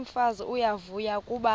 umfazi uyavuya kuba